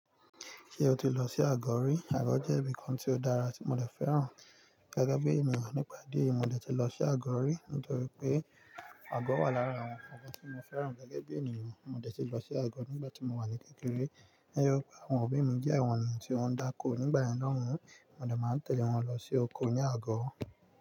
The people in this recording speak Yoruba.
Ṣé o ti lọ sí Àgọ̀ rí? Àgọ̀ jẹ́ ibìkan tí ó dára tí mo dẹ̀ fẹ́ràn gẹ́gẹ́ bí ènìyàn nípa idí ẹ̀yi, mo dẹ̀ ti lọ sí Àgọ̀ rí nítorí pé Àgọ̀ wà lára àwọn nǹkan tí mo fẹ́ràn gẹ́gẹ́ bí ènìyàn. Mo dẹ̀ ti lọ sí Àgọ̀ nígbà tí mo wà ní kékeré. Ẹyọ pé àwọn òbí mi jẹ́ àwọn ènìyàn tí ó ń dáko nígbàyen yen lohun, mo dẹ̀ máa ń tẹ̀lé wọn lọ sí oko ní Àgọ̀